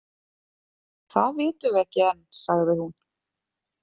Það vitum við ekki enn, sagði hún.